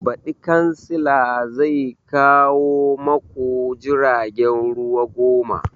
Baɗi kansila zai kawo maku jiragen ruwa goma